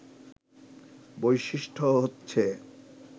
বৈশিষ্ট্য হচ্ছে